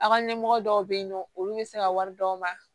A ka ɲɛmɔgɔ dɔw be yen nɔ olu be se ka wari d'aw ma